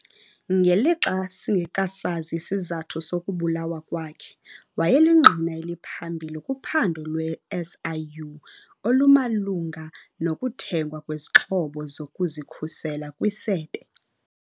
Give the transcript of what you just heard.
Ngelixa singekasazi isizathu sokubulawa kwakhe, wayelingqina eliphambili kuphando lwe-SIU olumalunga nokuthengwa kwezixhobo zokuzikhusela kwisebe.